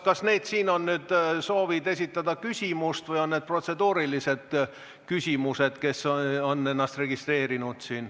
Kas need on soovid esitada küsimust või on need protseduurilised küsimused?